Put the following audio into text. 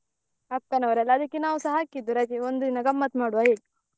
ಅಕ್ಕನವ್ರೆಲ್ಲ ಆದಿಕ್ಕೆ ನಾವ್ಸ ಹಾಕಿದ್ದು ರಜೆ ಒಂದು ದಿನ ಗಮ್ಮತ್ ಮಾಡುವ ಅಂತ ಹೇಳಿ.